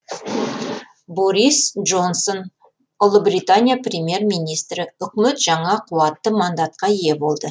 борис джонсон ұлыбритания премьер министрі үкімет жаңа қуатты мандатқа ие болды